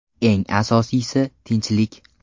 Eng asosiysi tinchlik.